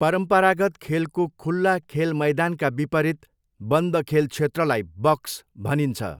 परम्परागत खेलको खुल्ला खेल मैदानका विपरीत, बन्द खेल क्षेत्रलाई बक्स भनिन्छ।